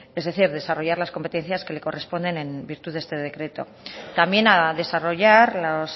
es decir desarrollar las competencias que le corresponden en virtud de este decreto también ha desarrollar las